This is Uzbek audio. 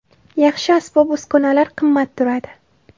Yaxshi asbob-uskunalar qimmat turadi.